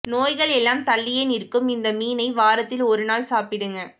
நோய்கள் எல்லாம் தள்ளியே நிற்கும் இந்த மீனை வாரத்தில் ஒரு நாள் சாப்பிடுங்க